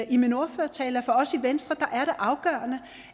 i min ordførertale for os i venstre er det afgørende